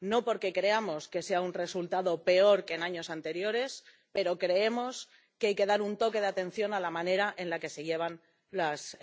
no porque creamos que sea un resultado peor que en años anteriores, pero creemos que hay que dar un toque de atención a la manera en la que se llevan las